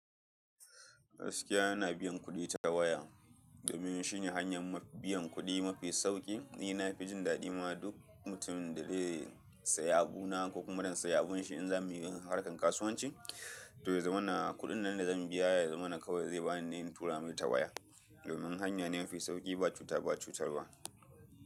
Gaskiya yana biyan kuɗi ta waya domin shi ne hanyan biyan kuɗi mafi sauƙi. Ni na fi jin daɗi ma duk mutumin da zai saya abu na ko kuma zan sai abun shi in za mu yi harkan kasuwanci to yaza mana kuɗin nan da zan biya ya zamana kawai ze bani ne in tura mai ta waya domin hanya ne mafi sauƙi ba cuta ba cutarwa.